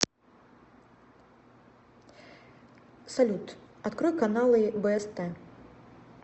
салют открой каналы бст